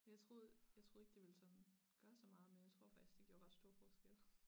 Jeg troede jeg troede ikke det ville sådan gøre så meget men jeg tror faktisk det gjorde ret stor forskel